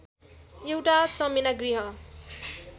एउटा चमेना गृह